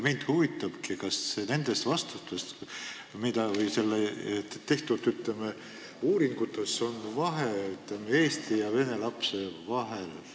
Mind huvitabki, kas nendes vastustes või uuringutes on mingi vahe eesti ja vene laste vahel.